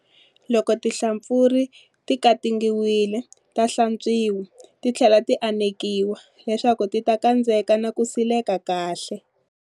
Loko tinhlampfurha ti katingiwile ta hlantswiwa, ti tlhela ti anekiwa leswaku ti ta kandzeka na ku sileka kahle.